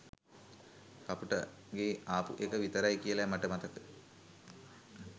කපුගේට ආපු එක විතරයි කියලයි මට මතක.